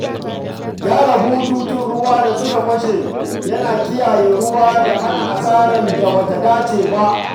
Gyara bututun ruwa da suka fashe yana kiyaye ruwa da hana asarar da ba ta dace ba.